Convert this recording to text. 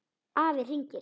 Afi hringir